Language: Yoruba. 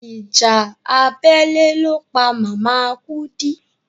Ìjà abẹ́lé ló pa màmá Kúdí.